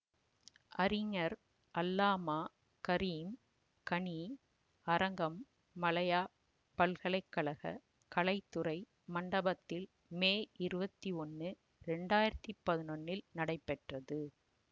அறிஞர் அல்லாமா கரீம் கனி அரங்கம் மலயாப் பல்கலைக்கழகக் கலைத்துறை மண்டபத்தில் மே இருவத்தி ஒன்னு இரண்டு ஆயிரத்தி பதினொன்னில் நடைபெற்றது